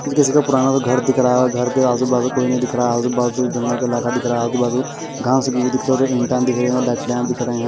ये किसी का पुराना सा घर दिख रहा है घर के आजू-बाजू कोई नहीं दिख रहा आजू-बाजू जंगल का इलाका दिख रहा आजू-बाजू घास उगी हुई दिख रहे जो ईंटा दिख रहे और लकड़ियां दिख रहे हैं।